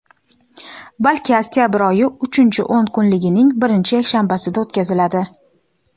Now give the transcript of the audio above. balki oktyabr oyi uchinchi o‘n kunligining birinchi yakshanbasida o‘tkaziladi.